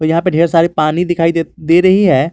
यहां पे ढेर सारी पानी दिखाई दे दे रही है।